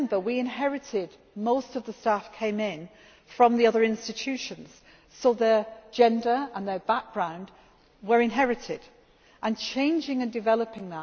more to do. Remember, most of the staff came in from the other institutions, so their gender and their background were inherited and changing and